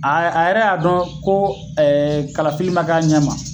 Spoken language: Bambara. A a yɛrɛ y'a dɔn ko ɛɛ kalafili ma kɛ a ɲɛ ma